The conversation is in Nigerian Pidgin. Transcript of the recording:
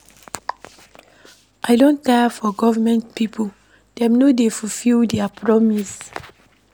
I don tire for government pipo, dem no dey fulfil their promise.